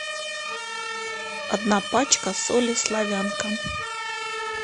одна пачка соли славянка